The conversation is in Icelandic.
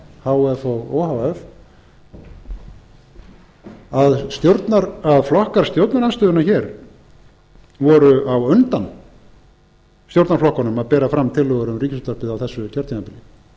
sf h f og o h f að flokkar stjórnarandstöðunnar hér voru á undan stjórnarflokkunum að bera fram tillögur um ríkisútvarpið á þessu kjörtímabili